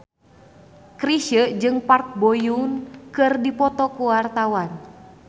Chrisye jeung Park Bo Yung keur dipoto ku wartawan